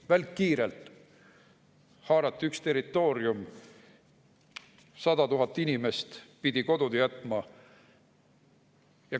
Välkkiirelt haarati üks territoorium, 100 000 inimest pidid kodud jätma.